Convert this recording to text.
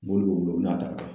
Mobili b'o bolo, o bɛna a ta